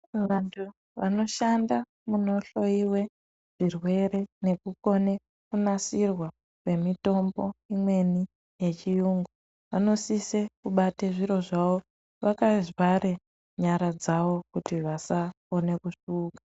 Vantu vanoshanda munohloyiwe zvirwere nekukone kunasirwa kwemitombo imweni yechiyungu vanosise kubate zviro zvavo vakavhare nyara dzavo kuti vasakone kusvuuka.